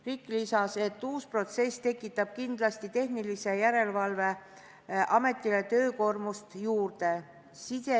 Rikk lisas, et uus protsess tekitab tehnilise järelevalve ametile kindlasti töökoormust juurde.